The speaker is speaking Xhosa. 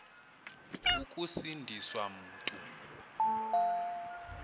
ukusindi swa mntu